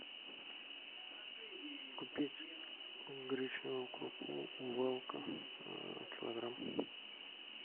купить гречневую крупу увелка килограмм